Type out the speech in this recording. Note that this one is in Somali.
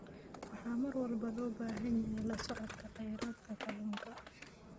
Waxaa mar walba loo baahan yahay la socodka kheyraadka kalluunka.